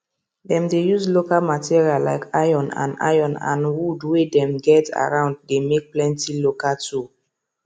dem dey use local material like iron and iron and wood way dem get around dey make plenty local tool